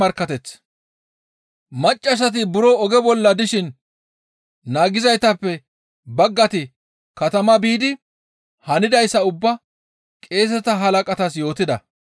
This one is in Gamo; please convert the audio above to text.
Maccasati buro oge bolla dishin naagizaytappe baggati katamaa biidi hanidayssa ubbaa qeeseta halaqatas yootida.